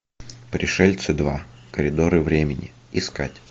пришельцы два коридоры времени искать